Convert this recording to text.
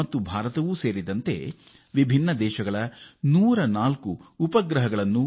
ಮತ್ತು ಭಾರತಕ್ಕೆ ಸೇರಿದವುಗಳಾಗಿವೆ